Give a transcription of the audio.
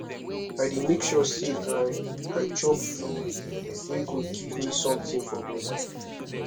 i dey make sure sey i i chop food wey go give me sometin for bodi